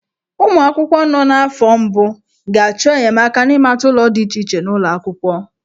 Ụmụ akwụkwọ nọ n'afọ mbụ ga-achọ enyemaka n'ịmata ụlọ dị iche iche n'ụlọ akwụkwọ.